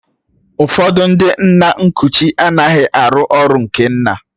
Ụfọdụ ndị nna nkuchi anaghị arụ ọrụ nke nna